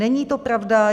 Není to pravda.